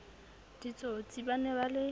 ditsotsi ba ne ba le